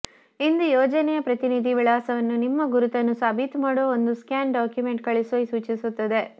ಇದು ಯೋಜನೆಯ ಪ್ರತಿನಿಧಿ ವಿಳಾಸವನ್ನು ನಿಮ್ಮ ಗುರುತನ್ನು ಸಾಬೀತುಮಾಡುವ ಒಂದು ಸ್ಕ್ಯಾನ್ ಡಾಕ್ಯುಮೆಂಟ್ ಕಳುಹಿಸುವ ಸೂಚಿಸುತ್ತದೆ